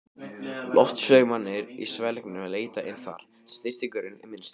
Loftstraumarnir í svelgnum leita inn þar, sem þrýstingurinn er minnstur.